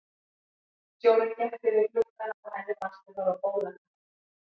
Sjórinn gekk yfir gluggana og henni fannst þau fara á bólakaf.